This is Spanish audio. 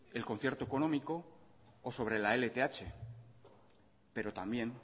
el concierto económico o sobre la lth pero también